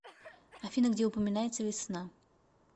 афина где упоминается весна